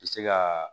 Se ka